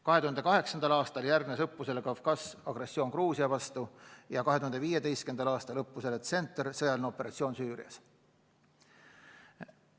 2008. aastal järgnes õppusele Kavkaz agressioon Georgia vastu, 2015. aastal õppusele Tsentr sõjaline operatsioon Süürias.